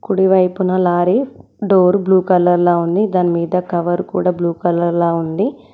కుడివైపున lorry door blue కలర్లా ఉంది దాని మీద కవర్ కూడ బ్లూ కలర్లా ఉంది.